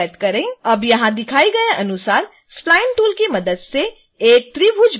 अब यहां दिखाए गए अनुसार spline टूल की मदद से एक त्रिभुज बनाएँ